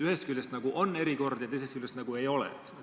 Ühest küljest nagu on erikord ja teisest küljest nagu ei ole.